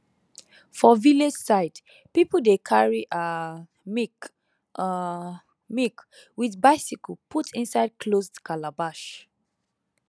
for village side people dey carry um milk um milk with bicycle put inside closed calabash